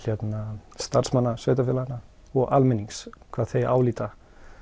starfsmanna sveitarfélaga og almennings hvað þau álíti að